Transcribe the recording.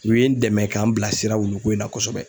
U ye n dɛmɛ k'an bilasira wuluko in na kosɛbɛ.